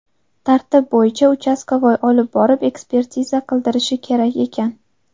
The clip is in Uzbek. Tartib bo‘yicha ‘uchastkovoy’ olib borib, ekspertiza qildirishi kerak ekan.